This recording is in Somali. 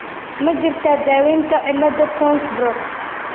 Ma jirtaa daawaynta cilada Townes Brocks ?